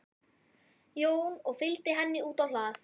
Jón og fylgdi henni út á hlað.